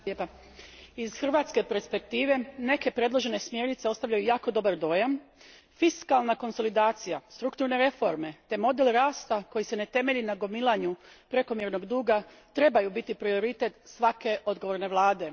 Gospodine predsjedniče, iz hrvatske perspektive neke predložene smjernice ostavljaju jako dobar dojam. Fiskalna konsolidacija, strukturne reforme te model rasta koji se ne temelji na gomilanju prekomjernog duga trebaju biti prioritet svake odgovorne vlade.